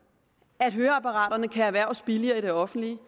at høreapparaterne kan erhverves billigere i det offentlige